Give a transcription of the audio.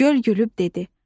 Göl gülüb dedi: